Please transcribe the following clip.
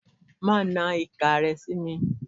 Máanan ìka ẹ sí mi.